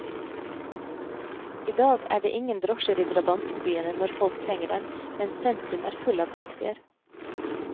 I dag er det ingen drosjer i drabantbyene når folk trenger dem, mens sentrum er full av taxier.